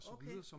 okay